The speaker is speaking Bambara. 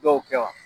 Dɔw kɛ wa